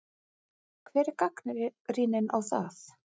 Hver er gagnrýnin á það?